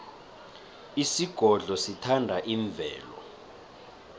isigodlo sithanda imvelo